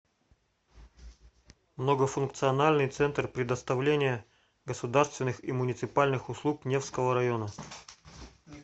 многофункциональный центр предоставления государственных и муниципальных услуг невского района